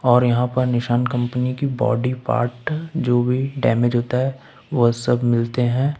और यहां पर निशान कंपनी की बॉडी पार्ट जो भी डैमेज होता है वो सब मिलते हैं।